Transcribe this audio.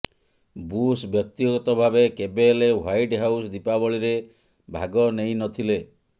bush ବ୍ୟକ୍ତିଗତ ଭାବେ କେବେ ହେଲେ ହ୍ବାଇଟ୍ ହାଉସ୍ ଦୀପାବଳିରେ ଭାଗ ନେଇ ନ ଥିଲେ